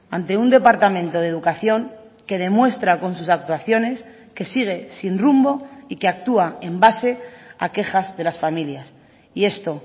ante un departamento de educación que demuestra con sus actuaciones que sigue sin rumbo y que actúa en base a quejas de las familias y esto